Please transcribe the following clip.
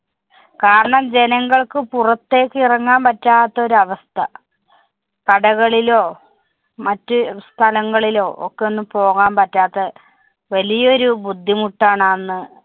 കാരണം ജനങ്ങള്‍ക്ക്‌ പുറത്തേക്ക് ഇറങ്ങാന്‍ പറ്റാത്തൊരു അവസ്ഥ. കടകളിലോ മറ്റ് സ്ഥലങ്ങളിലോ ഒക്കെ ഒന്നു പോവാന്‍ പറ്റാത്ത വലിയൊരു ബുദ്ധിമുട്ടാണ് അന്ന്